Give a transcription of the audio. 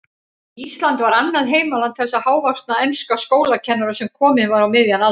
Ísland var annað heimaland þessa hávaxna enska skólakennara, sem kominn var á miðjan aldur.